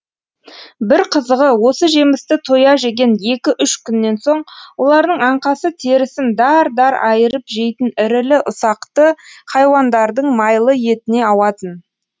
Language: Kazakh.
бір қызығы осы жемісті тоя жеген екі үш күннен соң олардың аңқасы терісін дар дар айырып жейтін ірілі ұсақты хайуандардың майлы етіне ауатын